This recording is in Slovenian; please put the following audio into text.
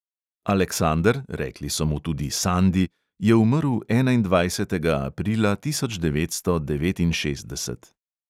Aleksander, rekli so mu tudi sandi, je umrl enaindvajsetega aprila tisoč devetsto devetinšestdeset.